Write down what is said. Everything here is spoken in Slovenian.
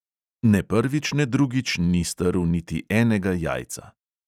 Ne prvič ne drugič ni strl niti enega jajca.